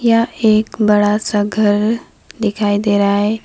यह एक बड़ा सा घर दिखाई देरहा है।